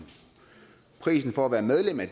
prisen for at være medlem af